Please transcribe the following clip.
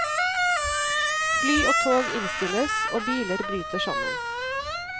Fly og tog innstilles, og biler bryter sammen.